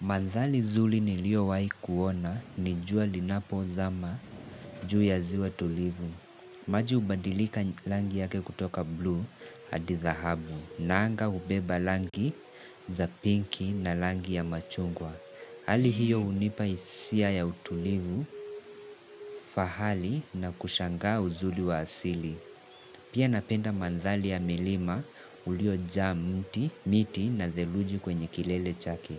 Madhari zuri nilio wahikuona ni jua linapo zama juu ya ziwa tulivu. Maji hubadilika rangi yake kutoka blue hadi thahabu na anga hubeba rangi za pinki na rangi ya machungwa. Hali hiyo hunipa hisia ya utulivu, fahari na kushanga uzuri wa asili. Pia napenda madhari ya milima ulio jaa mti, miti na dheruji kwenye kilele chake.